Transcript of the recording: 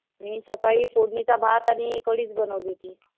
मी सकाळी फोडणीचा भात आणि कढीच बनवली होती.